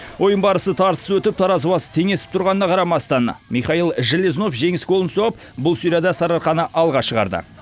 ойын барысы тартысты өтіп таразы басы теңесіп тұрғанына қарамастан михаил железнов жеңіс голын соғып бұл серияда сарыарқаны алға шығарды